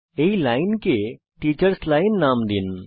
এই লাইনকে teachers line নাম দিন